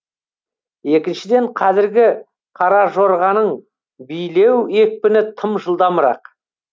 екіншіден қазіргі қаражорғаның билеу екпіні тым жылдамырақ